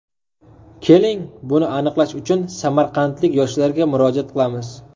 Keling, buni aniqlash uchun samarqandlik yoshlarga murojaat qilamiz.